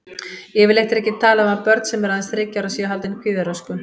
Yfirleitt er ekki talað um að börn sem eru aðeins þriggja ára séu haldin kvíðaröskun.